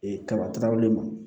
Ee kaba tɔrɔlen ma